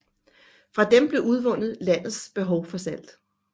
Fra dem blev udvundet landets behov for salt